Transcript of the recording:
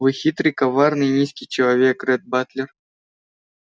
вы хитрый коварный низкий человек ретт батлер